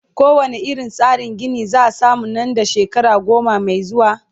ko wane irin tsarin Gini zaa samu Nan da shekara goma Mai zuwa?